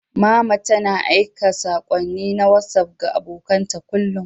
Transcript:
Mama tana aika saƙonni na Wasuf ga abokan ta kullum.